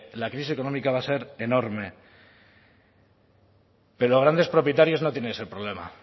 la crisis económica va a ser enorme pero los grandes propietarios no tienen ese problema